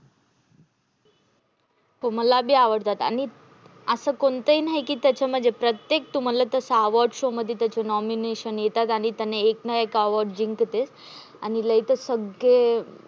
हो मला बी आवडतात. आणि असं कोणते नाही त्याचं प्रत्येक award show मध्ये त्याचे nomination येतात, आणि एक नाही एक award जिंकते. आणि लय त सग्गे